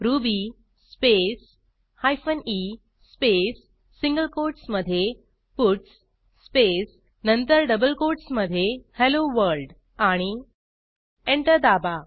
ruby space hyphen e space single कोटसमधे puts space नंतर double कोटसमधे हेल्लो वर्ल्ड आणि एंटर दाबा